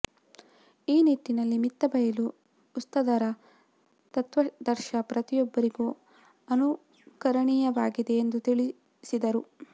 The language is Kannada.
ಈ ನಿಟ್ಟಿನಲ್ಲಿ ಮಿತ್ತಬೈಲು ಉಸ್ತಾದರ ತತ್ವಾದರ್ಶ ಪ್ರತಿಯೊಬ್ಬರಿಗೂ ಅನುಕರಣೀಯವಾಗಿದೆ ಎಂದು ತಿಳಿಸಿದರು